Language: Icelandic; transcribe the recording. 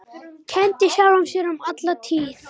Kenndi sjálfum sér um alla tíð.